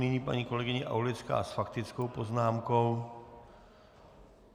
Nyní paní kolegyně Aulická s faktickou poznámkou.